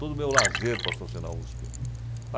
Todo o meu lazer passou a ser na USP.